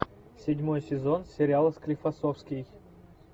седьмой сезон сериала склифосовский